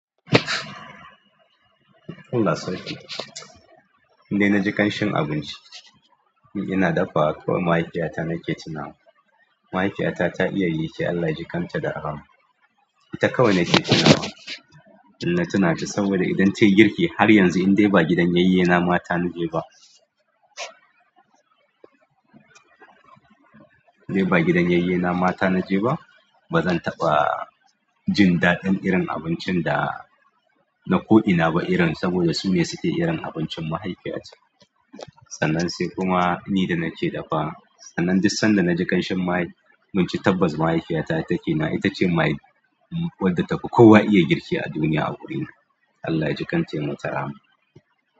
Allah sarki, indai na ji ƙanshin abinci, ina dafa kawai mahaifiyata nake tuna wa. Mahaifiyata ta iya girki Allah ya jikan ta da rahama. Ita kawai nake tuna wa, ina tuna ta saboda idan tayi girki har yanzu in dai ba gidan yayyena mata naje ba, dai ba gidan yayyena mata naje ba, ba zan taɓa jin daɗin irin abincin da na ko'ina ba irin saboda su ne suke irin abincin mahaifiyata. Sannan sai kuma ni da nake dafawa, sannan duk san da na ji ƙanshin mai tabbas mahaifiyata ita ke na, ita ce mahaifi wadda ta fi kowa iya girki a duniya a wurina. Allah ya jikan ta ya mata rahama.